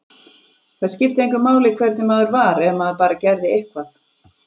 Það skipti engu máli hvernig maður var, ef maður bara gerði eitthvað.